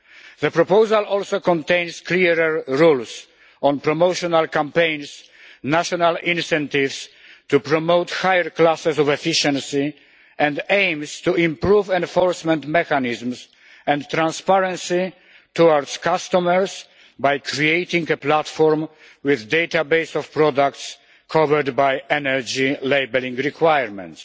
The proposal also contains clearer rules on promotional campaigns and national incentives to promote higher classes of efficiency, and aims to improve enforcement mechanisms and transparency for customers by creating a platform with a database of products covered by energy labelling requirements.